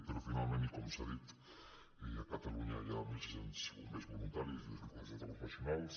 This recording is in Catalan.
però finalment i com s’ha dit a catalunya hi ha mil sis cents bombers voluntaris i dos mil quatre cents de professionals